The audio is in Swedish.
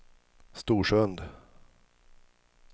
Storsund